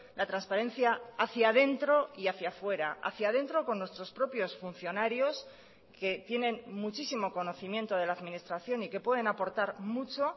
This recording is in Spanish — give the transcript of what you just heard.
la transparencia hacía dentro y hacía fuera hacía dentro con nuestros propios funcionarios que tienen muchísimo conocimiento de la administración y que pueden aportar mucho